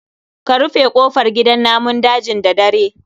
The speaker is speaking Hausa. Ka rufe kofar gidan namun dajin da dare